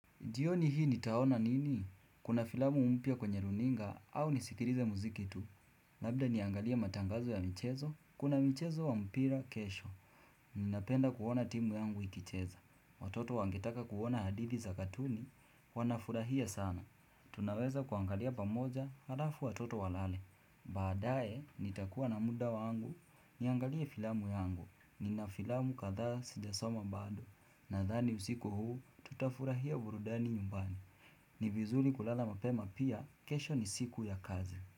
Jioni hii nitaona nini? Kuna filamu mpya kwenye runinga au nisikilize muziki tu. Labda niangalie matangazo ya michezo, kuna michezo wa mpira kesho. Ninapenda kuona timu yangu ikicheza. Watoto wangetaka kuona hadithi za katuni, wanafurahia sana. Tunaweza kuangalia pamoja halafu watoto walale. Baadae, nitakuwa na muda wangu, niangalie filamu yangu. Nina filamu kadhaa sijasoma bado. Na dhani usiku huu tutafurahia burudani nyumbani ni vizuri kulala mapema pia kesho ni siku ya kazi.